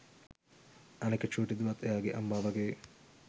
අනික චූටි දුවත් එයාගේ අම්මා වගේ